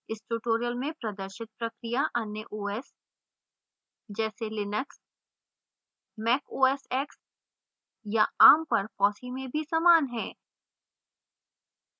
इस tutorial में प्रदर्शित प्रक्रिया अन्य os जैसे linux mac os x या arm पर fossee में भी समान है